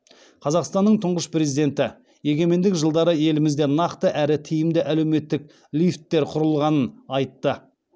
қазақстанның тұңғыш президенті егемендік жылдары елімізде нақты әрі тиімді әлеуметтік лифттер құрылғанын айтты